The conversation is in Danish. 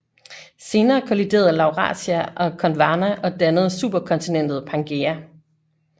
Senere kolliderede Laurasia og Gondwana og dannede superkontinentet Pangæa